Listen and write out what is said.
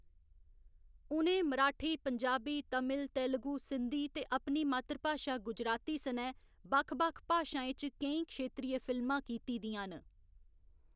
उ'नें मराठी, पंजाबी, तमिल, तेलुगु, सिंधी ते अपनी मातृभाशा गुजराती सनै बक्ख बक्ख भाशाएं च केईं क्षेत्रीय फिल्मां कीती दियां न।